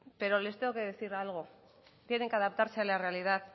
pero les tengo que decir algo tienen que adaptarse a la realidad